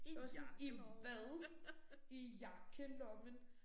Jeg var sådan i hvad? I jakkelommen